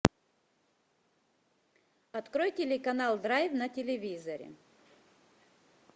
открой телеканал драйв на телевизоре